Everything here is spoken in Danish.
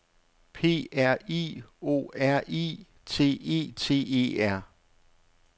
P R I O R I T E T E R